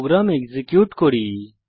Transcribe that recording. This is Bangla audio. প্রোগ্রাম এক্সিকিউট করি